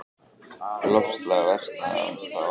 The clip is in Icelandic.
Loftslag versnaði þá á ný.